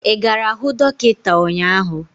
Ị gara hụ dọkịta ụnyaahụ?